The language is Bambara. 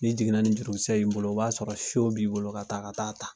Ni jiginna ni jurukisɛ y'i bolo o b'a sɔrɔ b'i bolo ka taa ka taa ta.